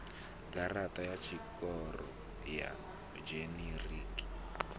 garaṱa ya tshikoro ya dzhinerikhi